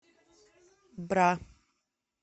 бра